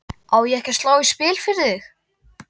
Á ég ekki að slá í spil fyrir þig?